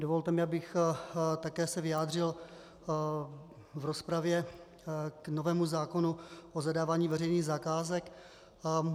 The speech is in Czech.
Dovolte mi, abych se také vyjádřil v rozpravě k novému zákonu o zadávání veřejných zakázek.